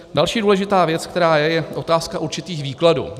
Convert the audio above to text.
Další důležitá věc, která je, je otázka určitých výkladů.